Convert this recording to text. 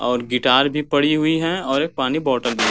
और गिटार भी पड़ी हुई है और एक पानी बोतल भी।